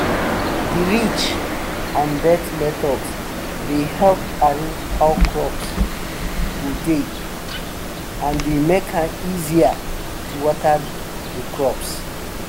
de ridge and bed method dey help arrange how crops go dey and dey make am easier to water de crops